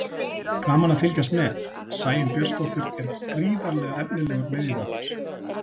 Gaman að fylgjast með: Sæunn Björnsdóttir er gríðarlega efnilegur miðjumaður.